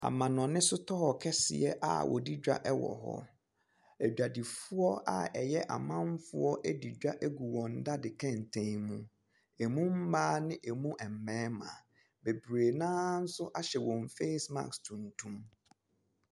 Amanɔne store kɛseɛ a wɔdi dwa wɔ hɔ. Adwadifoɔ a ɛyɛ amanfoɔ adi dwa agu wɔn daade kɛntɛn mu. Emu mma ne emu mmarima. Bebree no ara nso ahyɛ wɔɔn face marsk tuntun.